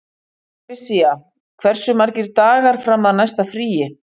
Patrisía, hversu margir dagar fram að næsta fríi?